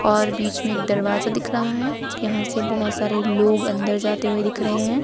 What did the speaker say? और बीच में एक दरवाजा दिख रहा है यहां से बहुत सारे लोग अंदर जाते हुए दिख रहे हैं।